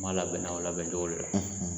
N b'a labɛnna o labɛncogo de la